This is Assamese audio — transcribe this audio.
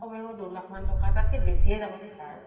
কমেও দুই লাখ মান টকা, তাতকে বেছিয়ে যাব